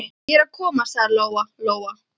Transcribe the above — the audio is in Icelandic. Ég er að koma, sagði Lóa Lóa.